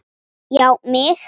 Já mig!